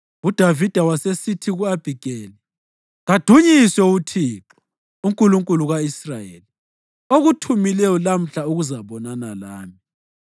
UDavida wasesithi ku-Abhigeli, “Kadunyiswe uThixo, uNkulunkulu ka-Israyeli, okuthumileyo lamhla ukuzabonana lami.